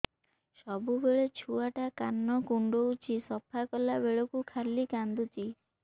ସବୁବେଳେ ଛୁଆ ଟା କାନ କୁଣ୍ଡଉଚି ସଫା କଲା ବେଳକୁ ଖାଲି କାନ୍ଦୁଚି